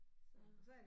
Så